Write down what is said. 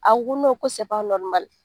A ko ko